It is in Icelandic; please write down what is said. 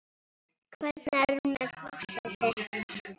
Hvernig er með húsið þitt